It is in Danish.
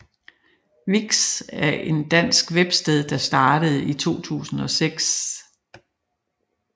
Vix er en dansk websted der startede i 2006